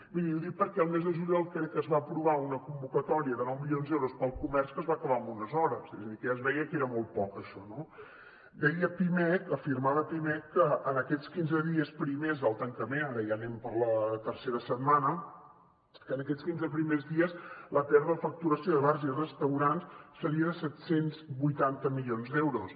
miri ho dic perquè al mes de juliol crec que es va aprovar una convocatòria de nou milions d’euros per al comerç que es va acabar amb unes hores és a dir que ja es veia que era molt poc això no deia pimec afirmava pimec que en aquests quinze dies primers del tancament ara ja anem per la tercera setmana la pèrdua de facturació de bars i restaurants seria de set cents i vuitanta milions d’euros